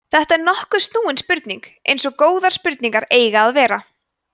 þetta er nokkuð snúin spurning eins og góðar spurningar eiga að vera